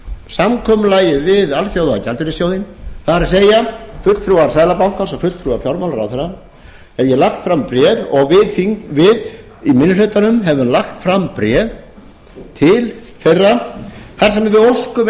samkomulagið við alþjóðagjaldeyrissjóðinn það er fulltrúar seðlabankans og fulltrúar fjármálaráðherra hef ég lagt fram bréf og við í minni hlutanum höfum lagt fram bréf til þeirra þar sem við óskum